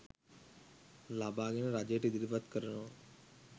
ලබාගෙන රජයට ඉදිරිපත් කරනවා.